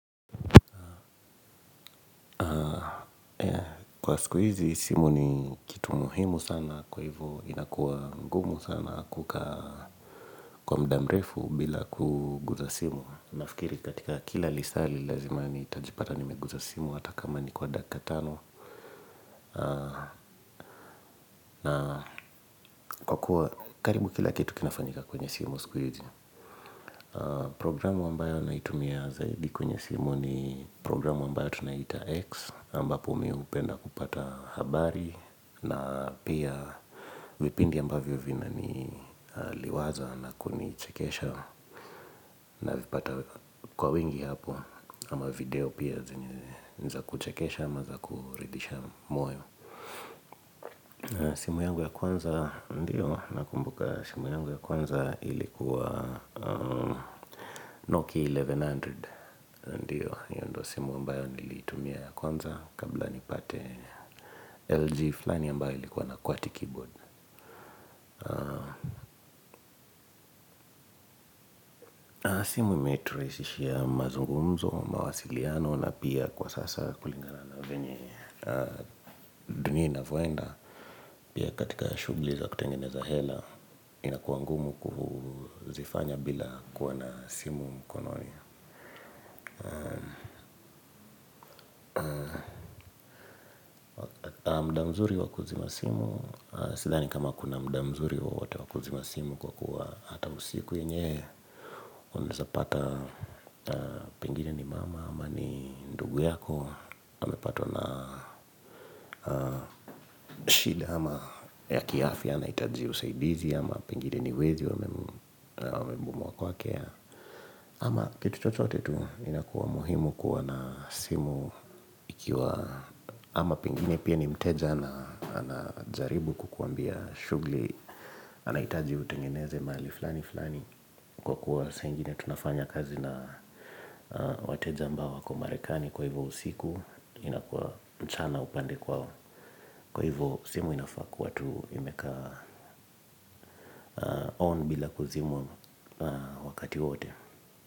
Kwa sikuizi, simu ni kitu muhimu sana kwa hivyo inakuwa ngumu sana kuka kwa mdamrefu bila kuguza simu. Nafikiri katika kila lisali lazima nitajipata nimeguza simu hata kama ni kwa daka tano. Na kwa kuwa karibu kila kitu kinafanyika kwenye simu sikuizi. Programu ambayo naitumia zaidi kwenye simu ni programu ambayo tunaita X. Amba po mi upenda kupata habari. Na pia vipindi ambavyo vinani liwaza na kunichekesha. Na vipata kwa wingi hapo. Ama video pia zenye niza kuchekesha ama za kuridisha moyo. Simu yangu ya kwanza ndiyo nakumbuka simu yangu ya kwanza ilikuwa Nokia elfu moja na mia moja. Ndiyo, yu ndo simu ambayo nilitumia ya kwanza. Kabla nipate LG fulani ambayo ilikuwa na kwati keyboard. Na simu imeturaisishia mazungumzo, mawasiliano. Na pia kwa sasa kulingana na venye dunia ina voenda. Pia katika shughli za kutengeneza hela. Inakua ngumu kuhu zifanya bila kuwa na simu mkononi. Na mda mzuri wakuzima simu sidhani kama kuna mda mzuri wowote wakuzima simu kwa kuwa hata usiku yenyewe uneza pata pengine ni mama ama ni ndugu yako amepatwa na shida ama ya kiafi anaitaji usaidizi ama pengine ni wezi wamembomoa kuake ama kitu chochote tu inakuwa muhimu kuwa nasimu ikiwa ama pengine pia nimteja na anajaribu kukuambia shugli anaitaji utengeneze mali. Kwa kuwa saa ingine tunafanya kazi na wateja ambao wako marekani. Kwa hivyo usiku inakua mchana upande kwao. Kwa hivyo simu inafaa kuwa tu imekaa on bila kuzimwa wakati wowote.